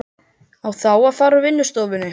Á þá að fara úr vinnustofunni.